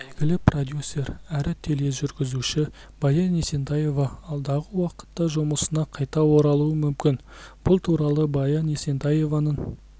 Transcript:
әйгілі продюсер әрі тележүргізуші баян есентаева алдағы уақытта жұмысына қайта оралуы мүмкін бұл туралы баян есентаеваның